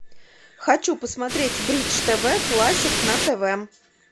хочу посмотреть бридж тв классик на тв